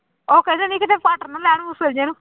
ਉਹ ਕਹਿ ਦਿੰਦੀ ਕਿਤੇ ਫੜ੍ਹ ਨਾ ਲੈਣ ਮੂਸਲ ਜਿਹੇ ਨੂੰ।